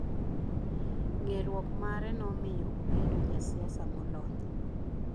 Ng'eruok mare nomiyo obedo jasiasa molony.